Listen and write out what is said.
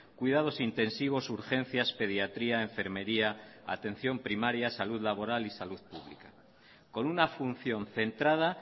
cuidados intensivos urgencias pediatría enfermería atención primaria salud laboral y salud pública con una función centrada